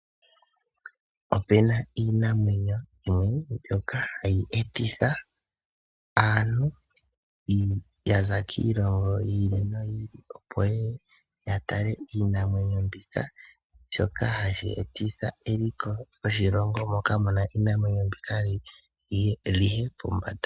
Opena iinamwenyo mbyoka hayi etitha aantu yaza kiilongo yi ili noyi ili opo yeye ya tale iinamwenyo mbika. Shoka hashi etitha eliko lyoshilongo moka muna iinamwenyo mbika liye pombanda.